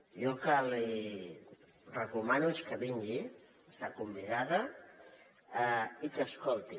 jo el que li recomano és que vingui està convidada i que escolti